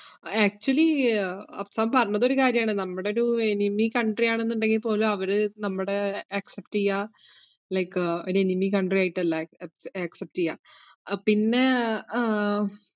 actually അഫ്സാമ് പറഞ്ഞതൊരു കാര്യാണ്. നമ്മടെ ഒരു enemy country യാണെന്നൊണ്ടെങ്കിൽ പോലും അവര് നമ്മടെ accept എയ്യ like ഒര് enemy country ആയിട്ടല്ല accep~ accept എയ്യാ. പിന്നേ ഏർ